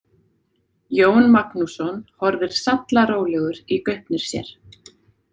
Jón Magnússon horfir sallarólegur í gaupnir sér.